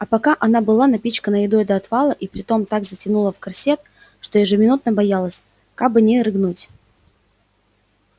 а пока она была напичкана едой до отвала и притом так затянула в корсет что ежеминутно боялась кабы не рыгнуть